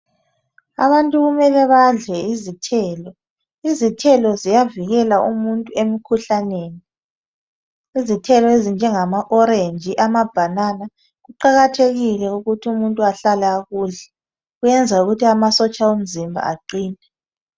Abantu kumele badle izithelo izithelo ziyavikela umuntu emkhuhlaneni izithelo ezinjengama orange, amabhanana kuqakathekile ukuthi umuntu ahlale ekudla kuyenza ukuthi amasotsha omzimba aqine.